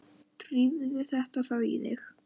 Drífðu þetta þá í þig.